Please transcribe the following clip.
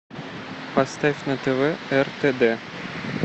поставь на тв ртд